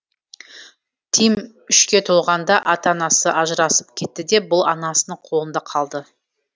тим үшке толғанда ата анасы ажырасып кетті де бұл анасының қолында қалды